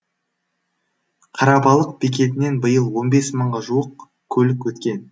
қарабалық бекетінен биыл он бес мыңға жуық көлік өткен